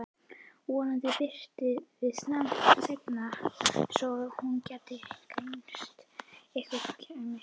Vonandi birti til seinna svo hún gæti greint einhver kennileiti.